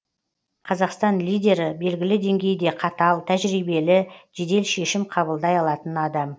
қазақстан лидері белгілі деңгейде қатал тәжірибелі жедел шешім қабылдай алатын адам